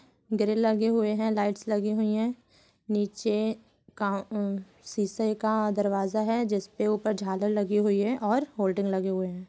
Grill लगे हुए हैं लाइट्स लगी हुई है | नीचे कॉउं एं शीशे का दरवाजा है जिसपे ऊपर झालर लगी हुई है और होल्डिंग लगी हुये है।